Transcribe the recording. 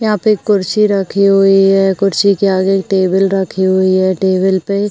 यहाँ पे एक कुर्सी रखी हुई है कुर्सी के आगे टेबल रखी हुई है टेबल पे --